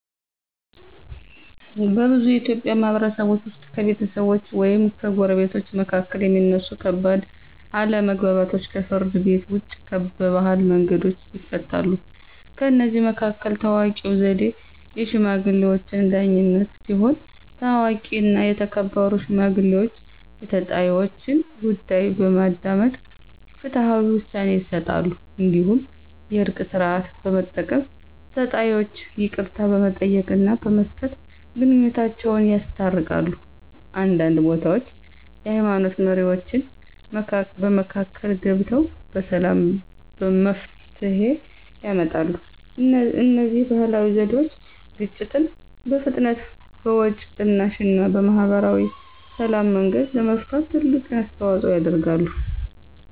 በብዙ የኢትዮጵያ ማህበረሰቦች ውስጥ ከቤተሰቦች ወይም ከጎረቤቶች መካከል የሚነሱ ከባድ አለመግባባቶች ከፍርድ ቤት ውጭ በባህላዊ መንገዶች ይፈታሉ። ከእነዚህ መካከል ታዋቂው ዘዴ “የሽማግሌዎች ዳኝነት” ሲሆን፣ ታዋቂና የተከበሩ ሽማግሌዎች የተጣይወችን ጉዳይ በማዳመጥ ፍትሃዊ ውሳኔ ይሰጣሉ። እንዲሁም “የእርቅ ሥርዓት” በመጠቀም ተጣይወች ይቅርታ በመጠየቅና በመስጠት ግንኙነታቸውን ያስታርቃሉ። አንዳንድ ቦታዎች የሃይማኖት መሪዎችም በመካከል ገብተው በሰላም መፍትሄ ያመጣሉ። እነዚህ ባህላዊ ዘዴዎች ግጭትን በፍጥነት፣ በወጪ ቅናሽ እና በማህበራዊ ሰላም መንገድ ለመፍታት ትልቅ አስተዋፅኦ ያደርጋሉ።